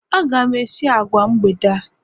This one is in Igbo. Aga m esi agwa mgbede a